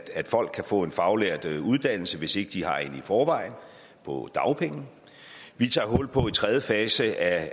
at folk kan få en faglært uddannelse hvis ikke de har en i forvejen på dagpenge vi tager hul på tredje fase af